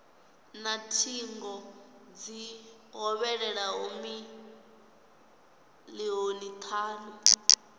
na thingo dzi hovhelelaho milioni thanu